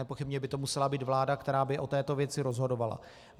Nepochybně by to musela být vláda, která by o této věci rozhodovala.